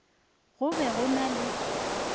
go be go na le